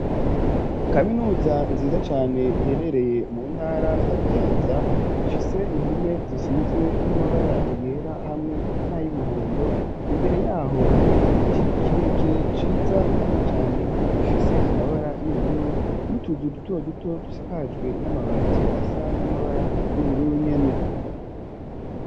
Kaminuza, nziza cane, iherereye mu ntara ya Kayanza, ifise impome, zisizwe n'amabara yera, hamwe n'ay'umuhondo; imbere y'aho, hari igiti, kirekire, ciza kandi cane, gifise amabara y'ubururu, n'utuzu duto duto, dusakajwe n'amabati, asa n'amabara y'ubururu, nyene.